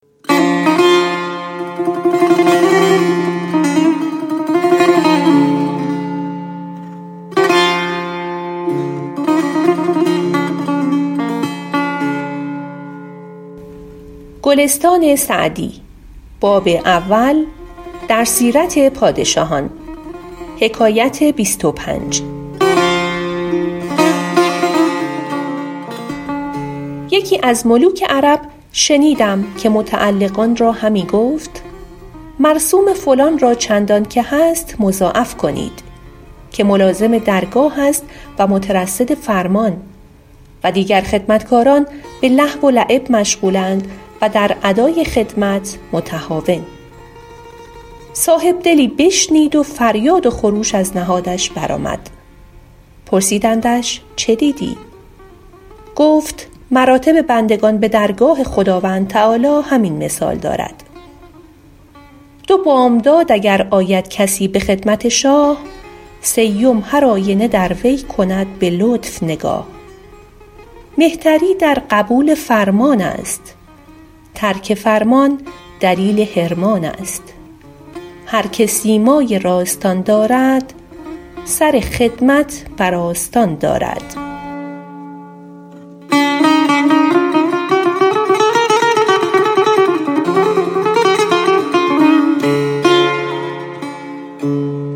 یکی از ملوک عرب شنیدم که متعلقان را همی گفت مرسوم فلان را چندان که هست مضاعف کنید که ملازم درگاه است و مترصد فرمان و دیگر خدمتکاران به لهو و لعب مشغول اند و در ادای خدمت متهاون صاحب دلی بشنید و فریاد و خروش از نهادش بر آمد پرسیدندش چه دیدی گفت مراتب بندگان به درگاه خداوند تعالیٰ همین مثال دارد دو بامداد اگر آید کسی به خدمت شاه سیم هرآینه در وی کند به لطف نگاه مهتری در قبول فرمان است ترک فرمان دلیل حرمان است هر که سیمای راستان دارد سر خدمت بر آستان دارد